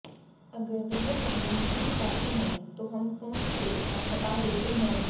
अगर वह वीडियो नहीं हटाते हैं तो हम फोन से ऐप हटा देते हैं